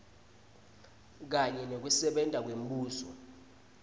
kanye nekusebenta kwembuso